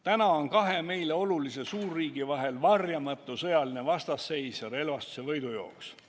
Täna on kahe meile olulise suurriigi vahel varjamatu sõjaline vastasseis ja relvastuse võidujooks.